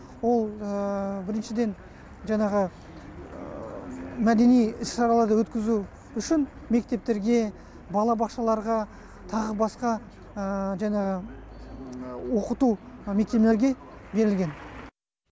ол біріншіден жаңағы мәдени іс шараларды өткізу үшін мектептерге балабақшаларға тағы басқа жаңағы оқыту мекемелерге берілген